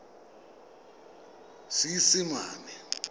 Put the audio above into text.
seesimane